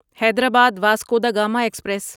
Hyderabad Vasco da Gama express